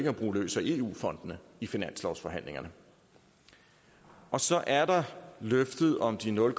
at bruge løs af eu fondene i finanslovsforhandlingerne så er der løftet om de nul